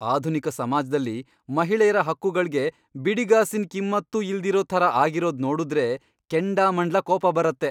ಆಧುನಿಕ ಸಮಾಜ್ದಲ್ಲಿ ಮಹಿಳೆಯ್ರ ಹಕ್ಕುಗಳ್ಗೆ ಬಿಡಿಗಾಸಿನ್ ಕಿಮ್ಮತ್ತೂ ಇಲ್ದಿರೋ ಥರ ಆಗಿರೋದ್ ನೋಡುದ್ರೆ ಕೆಂಡಾಮಂಡ್ಲ ಕೋಪ ಬರತ್ತೆ.